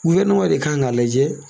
de kan k'a lajɛ